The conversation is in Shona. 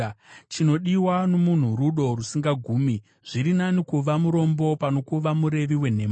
Chinodiwa nomunhu rudo rusingagumi; zviri nani kuva murombo pano kuva murevi wenhema.